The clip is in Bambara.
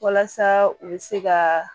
Walasa u bɛ se ka